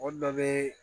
O dɔ ye